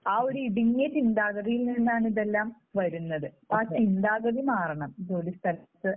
ഒരു ഇടുങ്ങിയ ചിന്താഗതിയിൽ നിന്നാണ് ഇതെല്ലാം വരുന്നത്. ആ ചിന്താഗതി മാറണം ജോലിസ്ഥലത്ത്